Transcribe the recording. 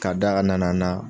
K'a d'a ka nana na